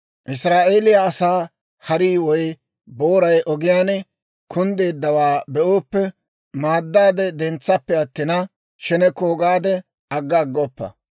«Israa'eeliyaa asaa harii woy booray ogiyaan kunddeeddawaa be'ooppe, maaddaade dentsappe attina, sheneko gaade agga aggoppa.